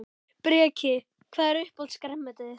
Breki: Hvað er uppáhalds grænmetið þitt?